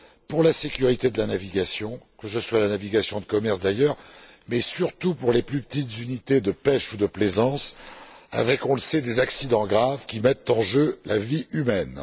pour la sécurité de la navigation, qu'il s'agisse de la navigation de commerce d'ailleurs mais surtout des plus petites unités de pêche ou de plaisance avec, on le sait, des accidents graves qui mettent en jeu la vie humaine.